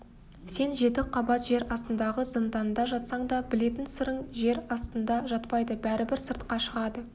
сен жеті қабат жер астындағы зынданда жатсаң да білетін сырың жер астында жатпайды бәрібір сыртқа шығады